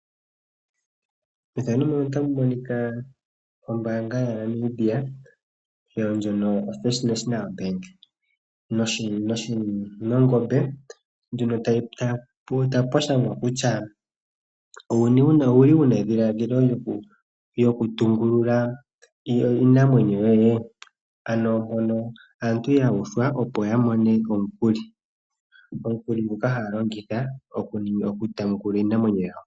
Ombaanga ya Namibia ndjono yoFirst National Bank nongombe ndjono, tapu shangwa kutya ouli wuna edhilaadhilo lyoku tungulula iinamwenyo yoye ? Ano mpono aantu yuuthwa opo ya mone omukuli, omukuli nguno haya longitha oku taneka iinamwenyo yawo.